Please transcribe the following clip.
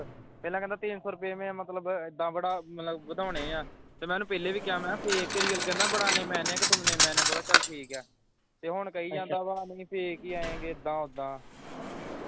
ਪਹਿਲਾ ਕਹਿੰਦਾ ਤਿੰਨ ਸੋ ਰੁਪਏ ਮੇਂ ਮਤਲਬ ਇੱਦਾਂ ਬੜਾ ਮਤਲਬ ਵਧਾਉਣੇ ਆਂ ਤੇ ਮੈਂ ਉਹਨੂੰ ਪਹਿਲੇ ਵੀ ਕਿਹਾ ਮਹਿ fake ਕੇ ਲਿਏ ਕਹਿੰਦਾ ਬੜਾਨੇ ਮੈਨੇ ਕਿ ਤੁਮਨੇ ਮੈਨੇ ਬੋਲਾ ਚੱਲ ਠੀਕ ਆ ਹੁਣ ਕਹੀ ਅੱਛਾ ਜਾਂਦਾ ਵਾਂ ਨਹੀਂ fake ਹੀ ਆਇਗੇ ਇੱਦਾਂ ਉੱਦਾਂ